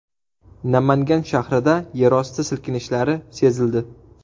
Namangan shahrida yerosti silkinishlari sezildi.